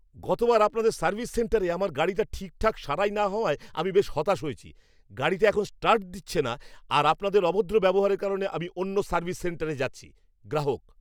গতবার আপনাদের সার্ভিস সেন্টারে আমার গাড়িটা ঠিকঠাক সারাই না হওয়ায় আমি বেশ হতাশ হয়েছি। গাড়িটা এখন স্টার্ট দিচ্ছে না আর আপনাদের অভদ্র ব্যবহারের কারণে আমি অন্য সার্ভিস সেন্টারে যাচ্ছি। গ্রাহক